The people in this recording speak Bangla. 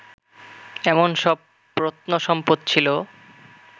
এমন সব প্রত্নসম্পদ ছিল